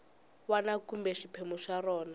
wana kumbe xiphemu xa rona